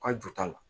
Ka jo t'a la